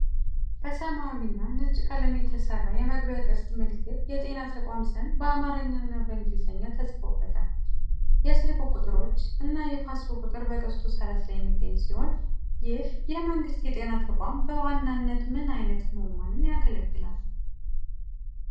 በሰማያዊና ነጭ ቀለም የተሰራ የመግቢያ ቅስት ምልክት የጤና ተቋም ስም በአማርኛ እና በእንግሊዝኛ ተጽፎበታል። የስልክ ቁጥሮች እና የፋክስ ቁጥር በቅስቱ ጠርዝ ላይ የሚገኙ ሲሆን። ይህ የመንግሥት የጤና ተቋም በዋናነት ምን ዓይነት ሕሙማንን ያገለግላል?